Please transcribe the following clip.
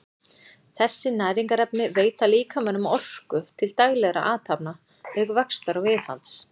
þessi næringarefni veita líkamanum orku til daglegra athafna auk vaxtar og viðhalds